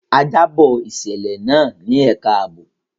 A jábọ̀ ìṣẹ̀lẹ̀ náà ní ẹka àbò.